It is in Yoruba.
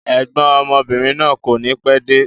Ẹ̀gbọ́n ọmọbìnrin náà kọ́ni pẹ́ẹ́de